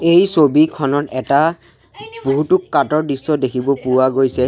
এই ছবিখনত এটা বহুতো কাট ৰ দৃশ্য দেখিব পোৱা গৈছে।